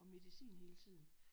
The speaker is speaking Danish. Og medicin hele tiden